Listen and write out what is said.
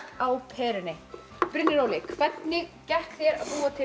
á perunni Brynjar Óli hvernig gekk þér að búa til